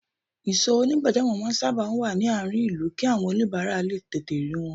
Ìsò onigbajamo máa sábà wá ní àárín ìlú kí àwọn onibara lè tètè rí wọn